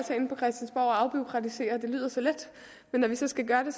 os at afbureaukratisere det lyder så let men når vi så skal gøre det